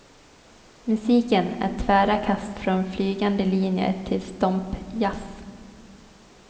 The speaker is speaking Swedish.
Musiken är tvära kast från flygande linjer till stompjazz.